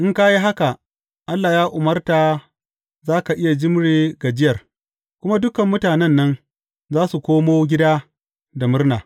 In ka yi haka, Allah ya umarta za ka iya jimre gajiyar, kuma dukan mutanen nan za su koma gida da murna.